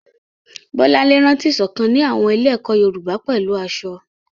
Bolanle rántí ìṣọ̀kan ní àwọn ilé-ẹ̀kọ́ Yorùbá pẹ̀lú aṣọ.